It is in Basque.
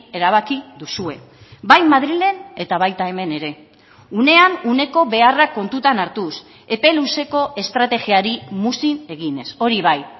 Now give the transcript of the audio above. erabaki duzue bai madrilen eta baita hemen ere unean uneko beharrak kontutan hartuz epe luzeko estrategiari muzin eginez hori bai